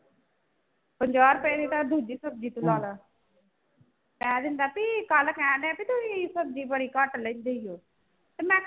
ਪੰਜਾਹ ਰੁਪਏ ਦੀ ਤਾਂ ਦੂਜੀ ਸਬਜ਼ੀ ਕਹਿ ਦਿੰਦਾ ਵੀ ਕੱਲ੍ਹ ਕਹਣਡਿਆ ਵੀ ਤੁਸੀਂ ਸਬਜ਼ੀ ਬੜੀ ਘੱਟ ਲੈਂਦੇ ਹੋ ਤੇ ਮੈਂ